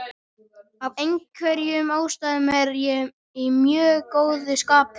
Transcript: Af einhverjum ástæðum er ég í mjög góðu skapi.